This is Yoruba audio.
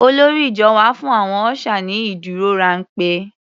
Olórí ìjọ wá fún àwọn ọ́ṣà ní ìdúrórámpẹ́.